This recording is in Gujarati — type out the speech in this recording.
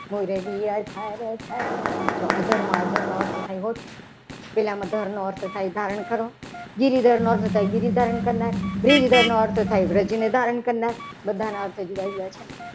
મોરલીયા ધરા જો આધારનો ધર્મનો અર્થ પહેલામાં ઘરનો શબ્દ થાય છે. ધારણ કરો ગીરીધરમાં થાય ગીરી ધારણ કરનાર બ્રિજદર નો અર્થ થાય. બ્રિજને ધારણ કરનાર બધાના અર્થ જુદા જુદા છે. ને